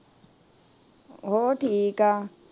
ਹੋਰ ਠੀਕ ਏ